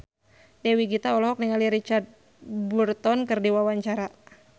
Dewi Gita olohok ningali Richard Burton keur diwawancara